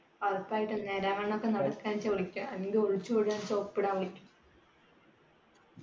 ഉറപ്പായിട്ടും നേരാവണ്ണം നടക്കാൻ ചോദിക്യാ നീ ഒളിച്ചോടാൻ